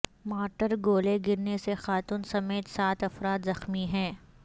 mortar گولے گرنے سے خاتون سمیت سات افراد زخمی ہیں